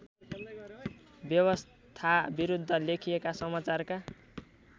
व्यवस्थाविरुद्ध लेखिएका समाचारका